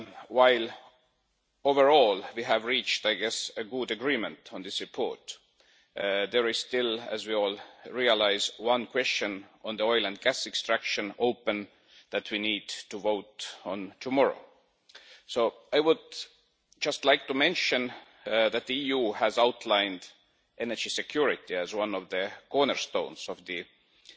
While overall we have reached, I guess, a good agreement on this report, there is still, as we all realise, one open question on oil and gas extraction that we need to vote on tomorrow. I would just like to mention that the EU has outlined energy security as one of the cornerstones of the Energy